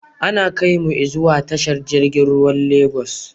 Ana kaimu i zuwa tashar jirgin ruwan Lagos